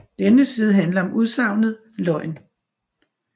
Denne side handler om udsagnet løgn